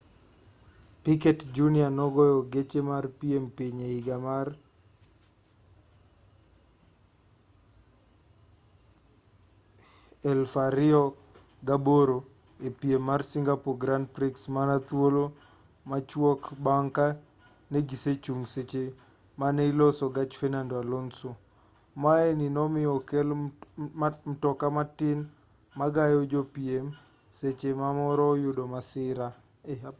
piquet jr nogoyo gache mar piem piny e higa mar 2008 e piem mag singapore grand prix mana thuolo machwok bang' ka negisechung' seche mane iloso gach fernando alonso maye ni nomiyo okel mtoka matin ma gayo jopiem seche ma moro oyudo masira